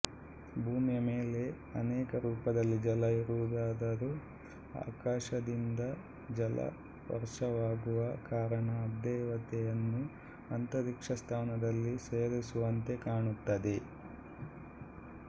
ಭೂಮಿಯ ಮೇಲೆ ಅನೇಕ ರೂಪದಲ್ಲಿ ಜಲ ಇರುವುದಾದರೂ ಆಕಾಶದಿಂದ ಜಲದ ವರ್ಷವಾಗುವ ಕಾರಣ ಅಬ್ದೇವತೆಯನ್ನು ಅಂತರಿಕ್ಷಸ್ಥಾನದಲ್ಲಿ ಸೇರಿಸಿರುವಂತೆ ಕಾಣುತ್ತದೆ